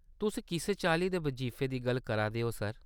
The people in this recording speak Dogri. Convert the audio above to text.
तुस कुस चाल्ली दे बजीफे दी गल्ल करा दे ओ, सर ?